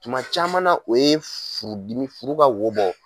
Tuma caman na o ye furudimi furu ka wo bɔ.